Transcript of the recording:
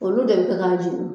Olu de bɛ kɛ k'a jeni